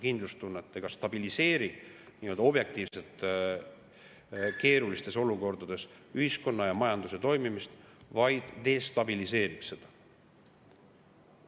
See ei stabiliseeri objektiivselt keerulistes olukordades ühiskonna ja majanduse toimimist, vaid destabiliseerib seda.